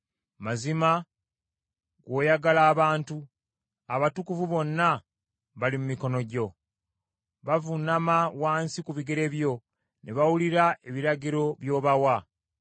Mazima gw’oyagala abantu, abatukuvu bonna bali mu mikono gyo. Bavuunama wansi ku bigere byo ne bawulira ebiragiro by’obawa.